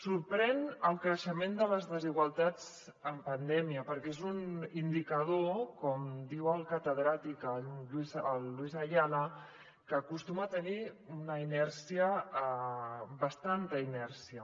sorprèn el creixement de les desigualtats en pandèmia perquè és un indicador com diu el catedràtic luis ayala que acostuma a tenir bastanta inèrcia